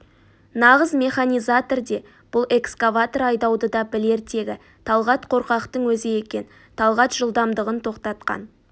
нағыз механизатор де бұл экскаватор айдауды да білер тегі талғат қорқақтың өзі екен талғат жылдамдығын тоқтатқан